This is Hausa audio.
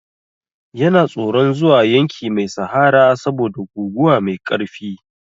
Yana tsoron zuwa yanki mai sahara saboda guguwa mai ƙarfi.